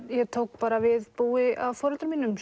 ég tók bara við búi af foreldrum mínum